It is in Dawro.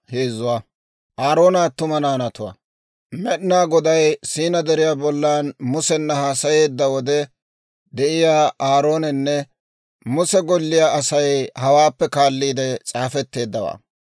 Med'inaa Goday Siinaa Deriyaa bollan Musena haasayeedda wode de'iyaa Aaroonanne Muse golliyaa Asay hawaappe kaalliide s'aafetteeddawaa.